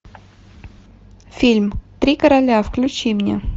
фильм три короля включи мне